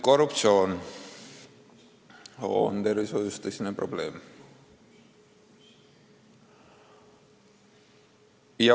Korruptsioon on tervishoius tõsine probleem.